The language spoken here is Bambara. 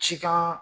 Cikan